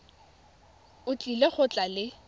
o tlile go tla le